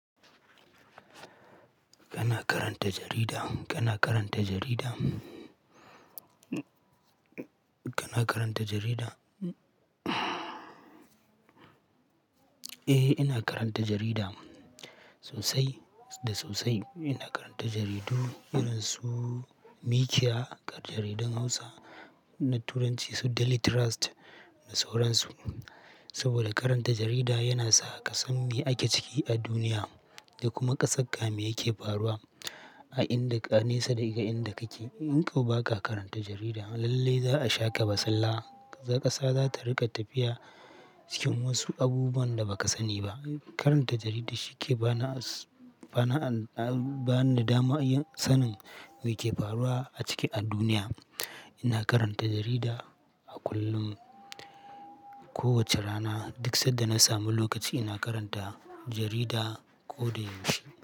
Kana karanta jarida? Kana karanta jarida? Kana karanta jarida? Eh, ina karanta jarida sosai da sosai. Ina karanta jaridu irin su Mikiya, kar jaridan Hausa na Turanci su Daily Trust da sauran su. Saboda karanta jarida yana sa ka san me ake ciki a duniya da kuma ƙasar ka me yake faruwa a inda kai nisa daga inda kake. In kau ba ka karanta jarida lalle za a sha ka basulla. Ƙasa za ta rika tafiya cikin wasu abubuwan da baka sani ba. Karanta jarida shi ke ba na, ba na, ba ni damar sanin me ke faruwa a ciki a duniya. Ina karanta jarida a kullum, kowace rana. Duk sanda na samu lokaci ina karanta jarida ko da yaushe.